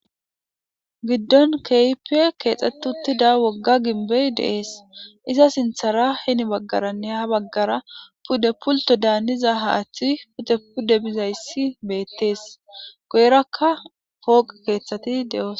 giddon keypiye keexxetutida wogga ginbey dees iza sinthara heni baggaranne ha baggara pude pulto daaniza haaththi pute pude bizayssi beettees goyrakka pooqi keeththati de7oos